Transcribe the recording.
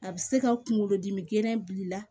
A bɛ se ka kunkolo dimi gɛlɛn bila i la